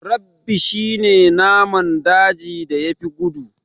Rabbi shi ne naman dajin da ya fi gudu